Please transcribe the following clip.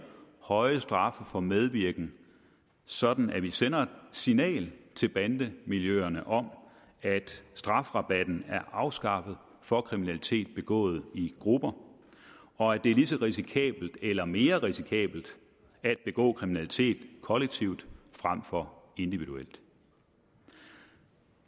høje straffe for medvirken sådan at vi sender et signal til bandemiljøerne om at strafrabatten er afskaffet for kriminalitet begået i grupper og at det er lige så risikabelt eller mere risikabelt at begå kriminalitet kollektivt frem for individuelt